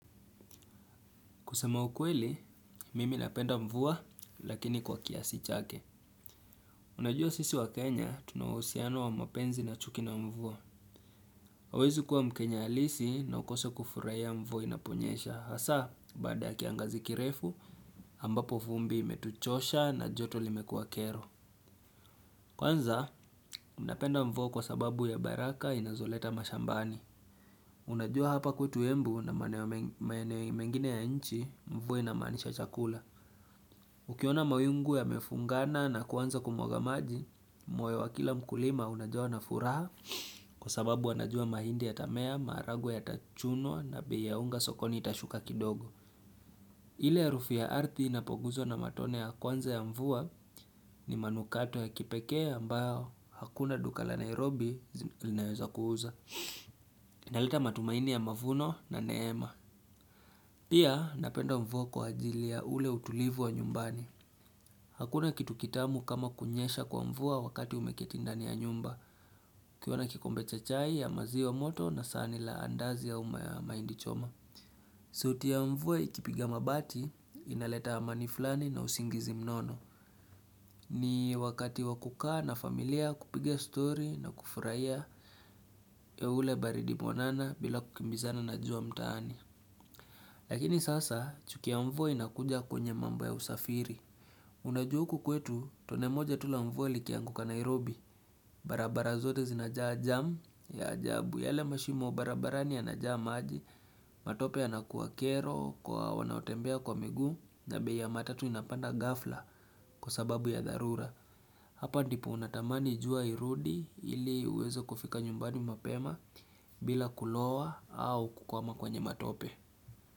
Kusema ukweli, mimi napenda mvua, lakini kwa kiasi chake. Unajua sisi wakenya, tunauhusiano wa mapenzi na chuki na mvua. Hauwezi kuwa mkenya halisi na ukose kufurahia mvua inaponyesha. Hasa, baada ya kiangazi kirefu, ambapo vumbi imetuchosha na joto limekuwa kero. Kwanza, ninapenda mvua kwa sababu ya baraka inazoleta mashambani. Unajua hapa kwetu Embu na maeneo mengine ya nchi, mvua inamaanisha chakula. Ukiona mawingu yamefungana na kuanza kumwaga maji, moyo wa kila mkulima unajawa na furaha kwa sababu wanajua mahindi yatamea, maharagwe yatachunwa na bei ya unga sokoni itashuka kidogo. Ile ya rufi ya ardhi inapoguzwa na matone ya kwanza ya mvua ni manukato ya kipekee ambayo hakuna duka la Nairobi linaweza kuuza. Inaleta matumaini ya mavuno na neema. Pia, napenda mvua kwa ajili ya ule utulivu wa nyumbani. Hakuna kitu kitamu kama kunyesha kwa mvua wakati umeketi ndani ya nyumba, ukiwa na kikombe cha chai ya maziwa moto na sahani la andazi au mahindi choma. Sauti ya mvua ikipiga mabati inaleta amani fulani na usingizi mnono. Ni wakati wa kukaa na familia kupiga story na kufurahia ya ule baridi mwanana bila kukimbizana na jua mtaani. Lakini sasa, chuki ya mvua inakuja kwenye mambo ya usafiri. Unajua huku kwetu tone moja tu la mvua likianguka Nairobi barabara zote zinajaa jam ya ajabu. Yale mashimo barabarani yanajaa maji matope yanakuwa kero kwa wanaotembea kwa miguu, na bei ya matatu inapanda ghafla kwa sababu ya dharura Hapa ndipo unatamani jua irudi ili huwezo kufika nyumbani mapema bila kulowa au kukwama kwenye matope.